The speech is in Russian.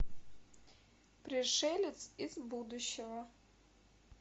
пришелец из будущего